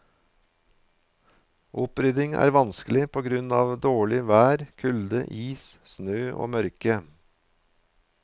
Opprydning er vanskelig på grunn av dårlig vær, kulde, is, snø og mørke.